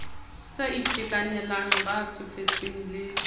sa itekanelang ba tsofetseng le